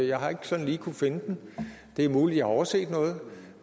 jeg har ikke sådan lige kunnet finde den det er muligt jeg har overset noget